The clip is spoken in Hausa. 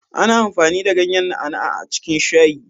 Ana amfani da ganyan na'a na'a a cikin shayi